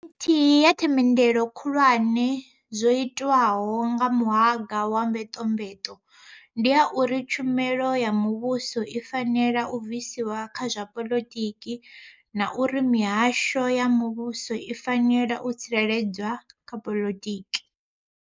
Nthihi ya themendelo khulwane dzo itwaho kha muhanga wa mvetomveto ndi ya uri tshumelo ya mu vhuso i fanela u bviswa kha zwa poḽotiki na uri mihasho ya muvhuso i fanela u tsireledzwa kha poḽotiki.